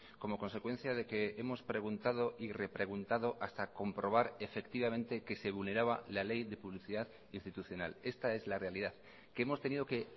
como consecuencia de que hemos preguntado y repreguntado hasta comprobar efectivamente que se vulneraba la ley de publicidad institucional esta es la realidad que hemos tenido que